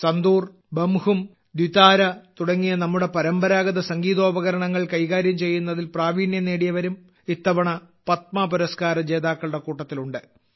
സന്തൂർ ബംഹും ദ്വിതാര തുടങ്ങിയ നമ്മുടെ പരമ്പരാഗത സംഗീതോപകരണൾ കൈകാര്യം ചെയ്യുന്നതിൽ പ്രാവീണ്യം നേടിയവരും ഇത്തവണ പത്മ പുരസ്കാര ജേതാക്കളുടെ കൂട്ടത്തിലുണ്ട്